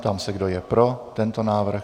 Ptám se, kdo je pro tento návrh.